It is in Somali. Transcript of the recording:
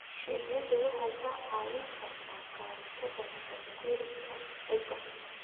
Shinnidu waxay kaa caawin kartaa ka hortagga nabaad-guurka ciidda.